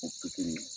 O pikiri